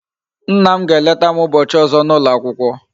Nna m ga eleta m ubochi ozo na ulo akwukwo